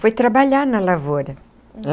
Foi trabalhar na lavoura.